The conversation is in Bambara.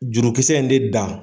Jurukisɛ in de da .